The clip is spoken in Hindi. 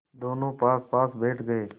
दोेनों पासपास बैठ गए